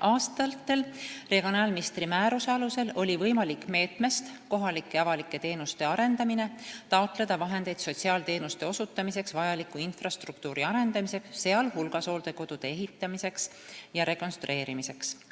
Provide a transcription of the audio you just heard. aastal oli regionaalministri määruse alusel võimalik meetmest "Kohalike avalike teenuste arendamine" taotleda vahendeid sotsiaalteenuste osutamiseks vajaliku infrastruktuuri arendamiseks, sh hooldekodude ehitamiseks ja rekonstrueerimiseks.